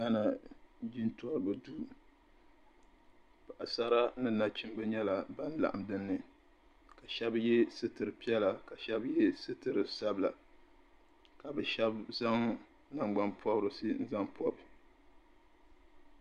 Jintoribi duu paɣasara ni naɣchimba nyela bin laɣim din ni ka shɛb ye sitiri piɛla ka shɛb ye sitiri sabila ka bɛ shɛb zaŋ nangbanpɔbirisi n zaŋ pɔbi.